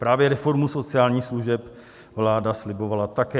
Právě reformu sociálních služeb vláda slibovala také.